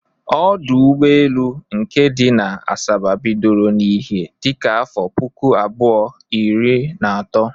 Ọdọ ụgbọelu nke dị na Asaba bidoro n'ihe dịka afọ puku abụọ, iri na atọ